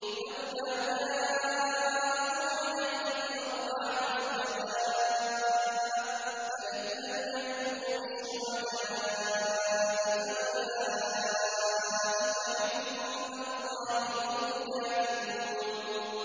لَّوْلَا جَاءُوا عَلَيْهِ بِأَرْبَعَةِ شُهَدَاءَ ۚ فَإِذْ لَمْ يَأْتُوا بِالشُّهَدَاءِ فَأُولَٰئِكَ عِندَ اللَّهِ هُمُ الْكَاذِبُونَ